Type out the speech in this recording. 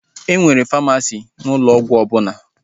E nwere famasisti n'ụlọ ọgwụ ọbụla